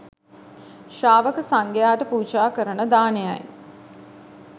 ශ්‍රාවක සංඝයාට පූජා කරන දානයයි.